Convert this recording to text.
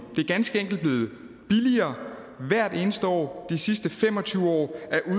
det er ganske enkelt blevet billigere hvert eneste år i de sidste fem og tyve